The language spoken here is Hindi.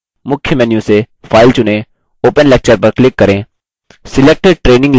मुख्य menu से file चुनें open lecture पर click करें